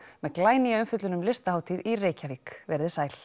með glænýja umfjöllun um Listahátíð í Reykjavík veriði sæl